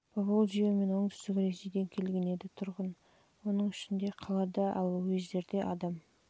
бөлігі поволжье мен оңтүстік ресейден келген еді тұрған оның ішінде қалада ал уездерде адам